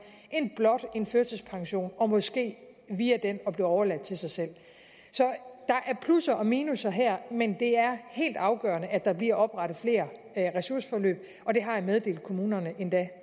end blot en førtidspension og måske via den blive overladt til sig selv så der er plusser og minusser her men det er helt afgørende at der bliver oprettet flere ressourceforløb og det har jeg meddelt kommunerne endda